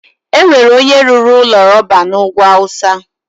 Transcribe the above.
enwere onye rụrụ ụlọ rọba na ugwu awụsa.